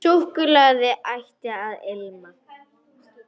Súkkulaði ætti að ilma.